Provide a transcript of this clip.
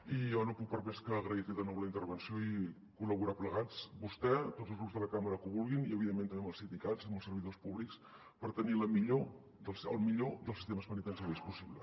i jo no puc més que agrair li de nou la intervenció i col·laborar plegats vostè tots els grups de la cambra que ho vulguin i evidentment també amb els sindicats amb els servidors públics per tenir el millor dels sistemes penitenciaris possibles